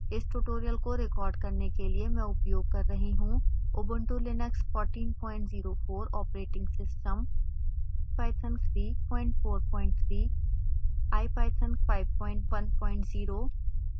इस ट्यूटोरियल को रिकॉर्ड करने के लिए मैं उपयोग कर रही हूँubuntu linux 1404 ऑपरेटिंग सिस्टम